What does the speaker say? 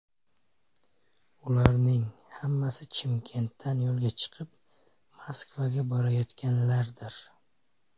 Ularning hammasi Chimkentdan yo‘lga chiqib, Moskvaga borayotganlardir.